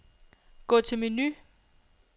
Gå til menu.